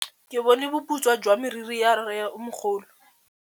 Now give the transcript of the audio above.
Ke bone boputswa jwa meriri ya rrêmogolo.